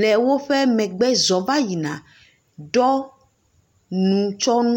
le woƒe megbe zɔm va yina ɖɔ nutsɔnu.